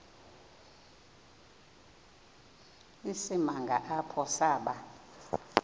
isimanga apho saba